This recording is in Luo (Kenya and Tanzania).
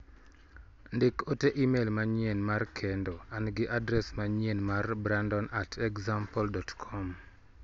Ndik ote imel manyien mar kendo an gi adres manyien mar brandon@example.com